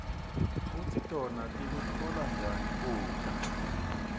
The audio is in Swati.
kutsi tona tikutfola njani kudla